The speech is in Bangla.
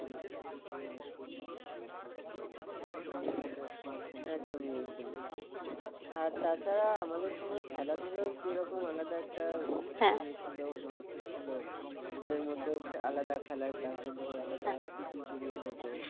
একদমই একদমই আর তাছাড়া আমাদের সময় খেলাধুলার যেরকম আলাদা একটা ইয়ে ছিল মাহাত্ম্য ছিল school র মধ্যেও আলাদা খেলার class হতো তারপরে pt period হত